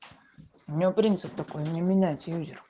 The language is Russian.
у нее принцип такой не менять юзер